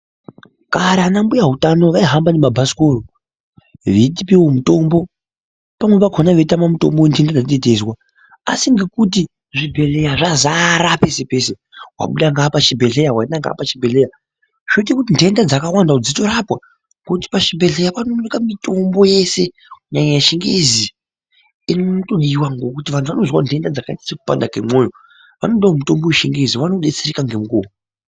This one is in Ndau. Kare vana mbuya hutano vaihamba nemabhasikoro veitipevo mitombo pamweni pakona vaitama mitombo yentenda dzateteizwa. Asi ngekuti zvibhedhleya zvazara pese-pese vabuda ngeapa chibhedhleya vaenda ngeapa chibhedhleya. Zvoita kuti ntenda dzakawanda dzitorapwa ngekuti pachibhedhleya panooneka mitombo yeshe kunyanya yechingezi inotodiva. Ngekuti vantu vanozwa ntenda dzakaita sekupanda kwemwoyo. Vanodavo mutombo yechingezi vanobetsereka ngemukuvo.